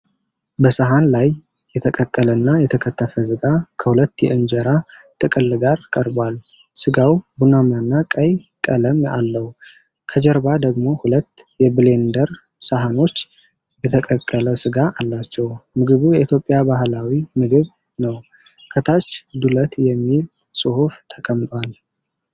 በሰሀን ላይ የተቀቀለና የተከተፈ ሥጋ ከሁለት የእንጀራ ጥቅል ጋር ቀርቧል። ሥጋው ቡናማና ቀይ ቀለም አለው። ከጀርባ ደግሞ ሁለት የብሌንደር ሳህኖች የተቀቀለ ሥጋ አላቸው። ምግቡ የኢትዮጵያ ባህላዊ ምግብ ነው። ከታች “ዱለት” የሚል ጽሑፍ ተቀምጧል።